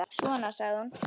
Svona, sagði hún.